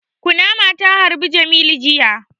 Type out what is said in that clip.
Kunama ta harbi jamilu jiya